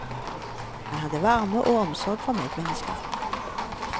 Han hadde varme og omsorg for medmennesker.